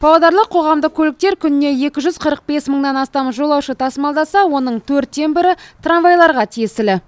павлодарлық қоғамдық көліктер күніне екі жүз қырық бес мыңнан астам жолаушы тасымалдаса оның төрттен бірі трамвайларға тиесілі